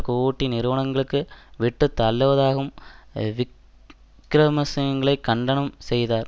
கூட்டு நிறுவனங்களுக்கு விட்டுத்தள்ளுவதாகவும் விக்கிரமசிங்ளை கண்டனம் செய்தார்